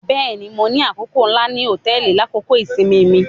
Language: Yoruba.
Bẹẹni, Mo ni akoko nla ni hotẹẹli lakoko isinmi mi.